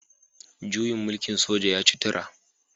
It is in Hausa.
Juyin mulkin soja ya ci tura